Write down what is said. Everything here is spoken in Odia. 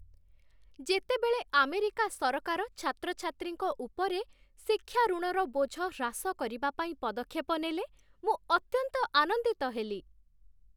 ଯେତେବେଳେ ଆମେରିକା ସରକାର ଛାତ୍ରଛାତ୍ରୀଙ୍କ ଉପରେ ଶିକ୍ଷା ଋଣର ବୋଝ ହ୍ରାସ କରିବା ପାଇଁ ପଦକ୍ଷେପ ନେଲେ, ମୁଁ ଅତ୍ୟନ୍ତ ଆନନ୍ଦିତ ହେଲି।